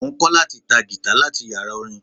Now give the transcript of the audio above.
Mo ń kọ́ láti ta Gìtá láti yàrá orin.